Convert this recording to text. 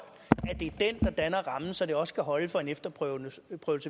det der danner rammen så det også kan holde for en efterprøvelse